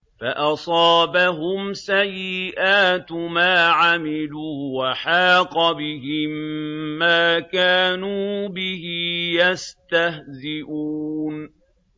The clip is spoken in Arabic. فَأَصَابَهُمْ سَيِّئَاتُ مَا عَمِلُوا وَحَاقَ بِهِم مَّا كَانُوا بِهِ يَسْتَهْزِئُونَ